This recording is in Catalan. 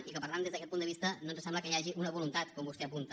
i per tant des d’aquest punt de vista no ens sembla que hi hagi una voluntat com vostè apunta